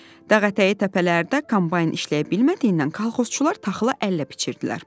Dağ ətəyi təpələrdə kombayn işləyə bilmədiyindən kolxozçular taxılı əllə biçirdilər.